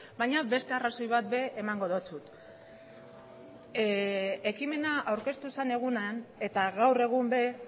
baina beste arrazoi bat ere emango dizut ekimena aurkeztu zen egunean eta gaur egun ere